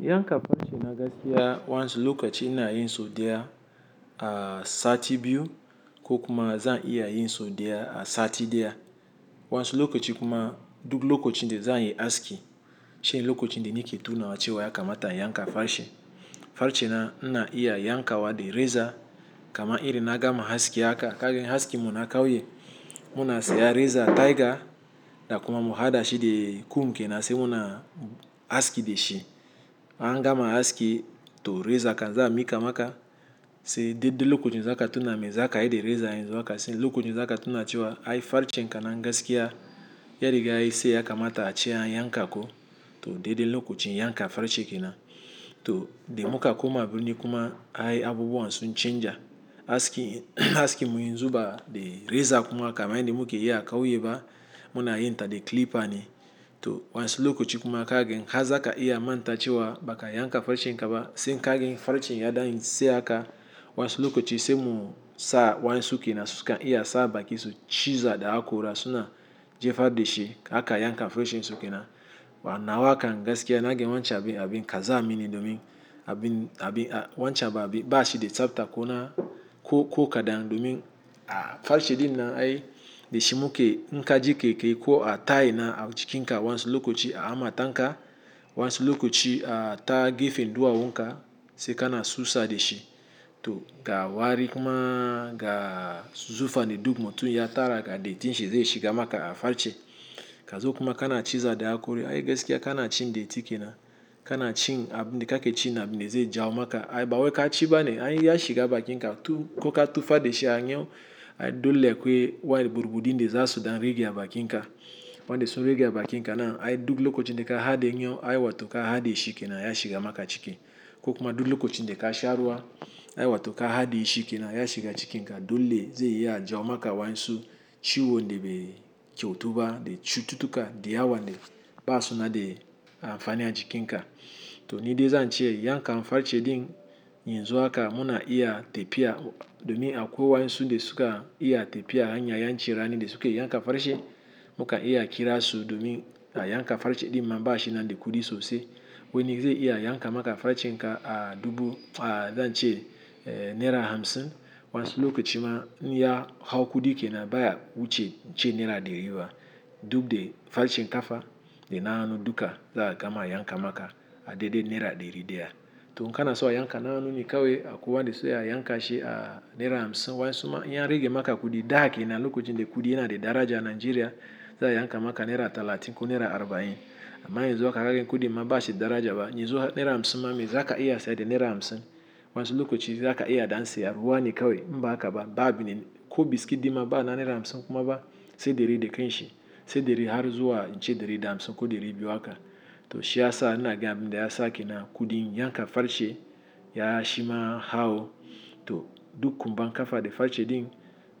Yankan farce na gaskiya wasu lokochi ina yi sau daya a sati biyu ko kuma za iya yi sau daya a sati daya. Wasu lokaci kuma duk lokachindazanyi aski. Sai lokacin d nike tunawa cewa ya kamata na yanka farce. Farce na, na iya yankawa da reza kama irin na gama aski haka. Kaga askinm na kauye, muna sayan reza tiger da kuma muhadashi da kum ke nan sai muna aski da shi. An gama aski to reza kan za mikam aka, sai daidai lokachin zakatuna me zaka yi da reza yanzu haka sai lokochin zakatuna cewa ai farce kan na gaskiya, ya riga yayi tsayi kamata ace an yanka ko to dadai lokochin yanka farce kenan. To da muka koma birni kuma ai abubuwan sun chanza. Aski, askinmu yanzu ba da reza kuma kaman yanda muke y akauye ba muna yinta da clipper ne. To wansu lokochi kuma kaga har zaka iya manta cewa baka yanka farce kan ba. Se ka gan farce ya dan yin tsayi haka wansu lokochi se mun sa wansu ke na sukan iya sa baki su ciza da hakora suna jefar de shi aka yanka farcensu kenan. Ba nawa kan gaskiya naga wancan abin kazamie domin abin, abin wancan abin ba shi da tsafta ko na ko, ko kadan domin a farce din nan ai da shi muk inka ji kaikayi ko ta'ina na a jikin ka wansu lokochi a hammatanka. Wansu lokochi a ta gefen duwa wunka sai kana susa da shi. To ga wari kuma ga zufa ne duk mutum ya tara ga dattin shi zai shiga maka farce. Ka zo kuma kana ciza da hakori ai gaskiya kana cin datti kenan. Kana cin abin da kake cin abin de zai jawo maka ai ba wai ka ci ba ne ai ya shiga bakin ka ko ka tufar da shi a nyo ai dole akwai burbudin da za su dan rage a bakin ka. Wanda sun rage a bakin ka nan ai duk lokochin daka hadiye yawu ai wato ka hadiye shi ke nan ya shiga maka ciki. Ko kuma duk lokochin da ka sha ruwa ai wato ka hadiyeshi ke nan ya shiga cikin ka dole zai iya jawo maka wansu ciwo nebe kyautuba de cututtuka da yawan da basuda amfani a jikin ka. To ni de zan ce yanka farce din yanzu haka muna iya tafiya domin a kwai wayansu da suka iya tafiya hanya yan ci rani d suke yanka farce. Muka iya kira su domin a yanka farce din mamba shi na de kudi sosai. Wani zai iya yanka maka farce kan a dubu, a zan ce naira hamsin wansu lokochi ma in ya hau kudi ke nan baya wuce ce naira dari ba. Duka da farcen kafa dana hannu duka za'a gama yanka maka a dedde naira dari deya. To in kana so a yanka na hannu ne kawai akwai wanda suke yanka shi a naira hamsin wansu ma in ya rage maka kudi da kenan da lokochi da kudi yana da daraja Nigeria za'a yanka maka naira talatin ko naira arba'in. Amma yanzu kaga kudin ma ba shi daraja ba. Yanzo naira hamsin ma me zaka iya saya da naira hamsin wansu lokochi zaka iya dan siyan ruwane kawai inba hakaba ba abin ne ko biskit dima babu na naira hamsin kuma ba sai dari da kanshi sai dari har zuwa sai dari da hamsin ko dari biyu haka. To shi ya sa inaga abinda ya sake nan kudin yanka farce ya shima hau. To duk kumbnn kafa da farce din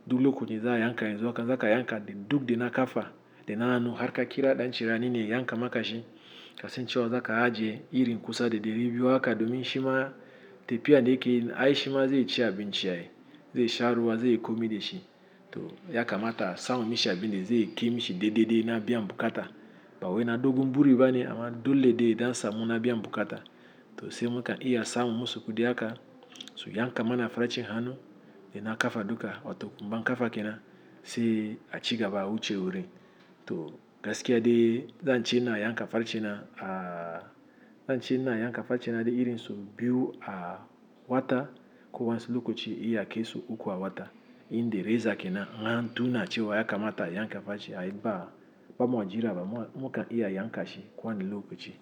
duk lokochi za'a yanka yanz haka zaka yanka da duk da na kafa dana hannu har ka kira dan ci rani ne ya yanka maka shi. Kasan cewa zaka ajiye irin kusa da dari biyu haka domin shima tafiya da yakeyi ai shima zai ci abin ci ai, zai sha ruwa zai komi da shi. To ya kamata samun mishi abin da zai ke mishi dai dai na biyan bukata. Ba wai na dogon buri ba ne amma dole ya dan samu na biyan bukata. To se muka iya samun masu kudi haka su yanka mana farce hanu da na kafa duka wato kumban kafa ke nan sai a cigaba awuce wurin. To gaskiya dai zan ce ina yanka farce na a, zan ce ina yanka farce na dai irin sau biyu a wata ko wansu lokochi iya kai sau uku a wata. Yin da reza kenan in an tuna cewa ya kamata ayanka farce ai ba, ba mu jiraba muka iya yanka shi kowanne lokochi.